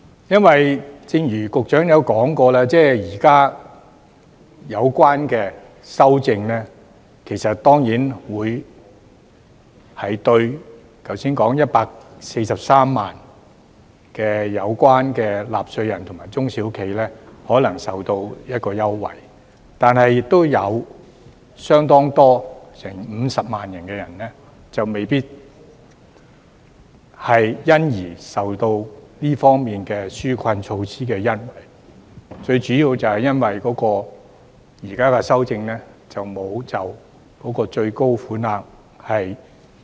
因為，正如局長也說過，現時的有關修訂令剛才提到的143萬名納稅人及中小企可能受惠，但亦有多達50萬人未必可以獲得紓困措施的恩惠，主要就是由於現行修訂並沒有提升最高款額。